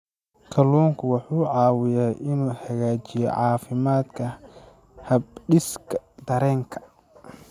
Kalluunku wuxuu caawiyaa inuu hagaajiyo caafimaadka habdhiska dareenka.